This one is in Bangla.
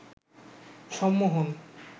সম্মোহন